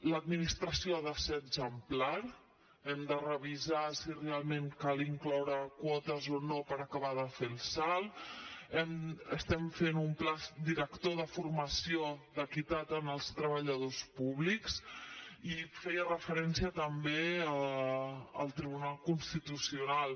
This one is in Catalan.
l’administració ha de ser exemplar hem de revisar si realment cal incloure quotes o no per acabar de fer el salt estem fent un pla director de formació d’equitat en els treballadors públics i feia referència també al tribunal constitucional